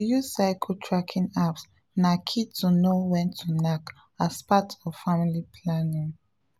to use cycle tracking apps na key to know when to knack as part of family planning